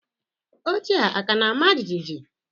Oche a ka na-ama jijiji?